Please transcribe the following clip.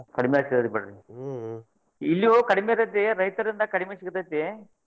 ಕಡ್ಮಿ ಹಚ್ಚಿದ್ರಿ ಬಿಡ್ ಇಲ್ಲೂ ಕಡ್ಮಿ ಇರ್ತೇತಿ ರೈತರಿಂದ ಕಡ್ಮಿ ಸಿಗ್ತೇತಿ.